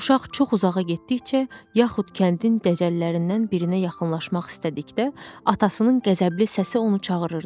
Uşaq çox uzağa getdikcə yaxud kəndin dəcəllərindən birinə yaxınlaşmaq istədikdə atasının qəzəbli səsi onu çağırırdı.